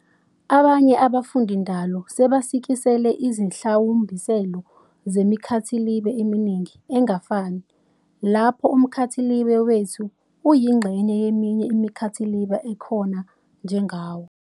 Abanye abafundindalo sebasikisele ízihlawumbiselo zemikhathilibe eminingi engafani, lapho umkhathilibe wethu uyingxenye yeminye imikhathilibe ekhona njengawo.